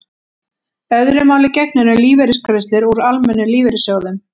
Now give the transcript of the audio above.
öðru máli gegnir um lífeyrisgreiðslur úr almennum lífeyrissjóðum